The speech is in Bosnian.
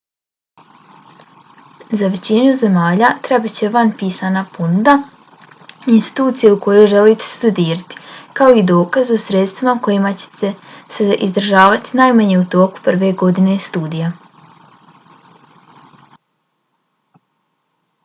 za većinu zemalja trebat će van pisana ponuda institucije u kojoj želite studirati kao i dokaz o sredstvima kojima ćete se izdržavati najmanje u toku prve godine studija